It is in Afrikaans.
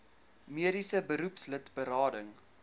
mediese beroepslid berading